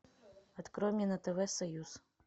открой мне на тв союз